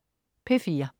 P4: